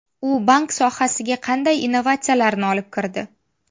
U bank sohasiga qanday innovatsiyalarni olib kirdi?